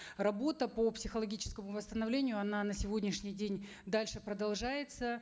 работа по психологическому восстановлению она на сегодняшний день дальше продолжается